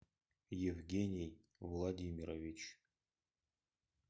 евгений владимирович